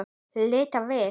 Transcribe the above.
Líta við.